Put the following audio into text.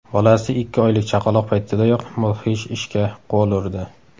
Bolasi ikki oylik chaqaloq paytidayoq mudhish ishga qo‘l urdi.